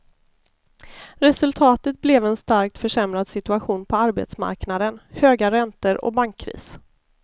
Resultatet blev en starkt försämrad situation på arbetsmarknaden, höga räntor och bankkris.